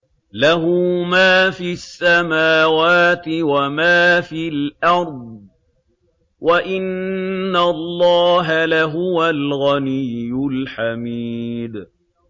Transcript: لَّهُ مَا فِي السَّمَاوَاتِ وَمَا فِي الْأَرْضِ ۗ وَإِنَّ اللَّهَ لَهُوَ الْغَنِيُّ الْحَمِيدُ